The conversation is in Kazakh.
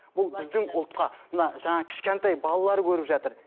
бұл біздің ұлтқа мына жаңағы кішкентай балалар көріп жатыр